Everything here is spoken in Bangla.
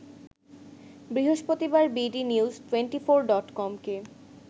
বৃহস্পতিবার বিডিনিউজ টোয়েন্টিফোর ডটকমকে